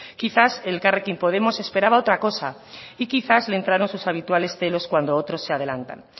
quizás elkarrekin podemos esperaba otra cosa y quizás le entraron sus habituales celos cuando otros de adelantan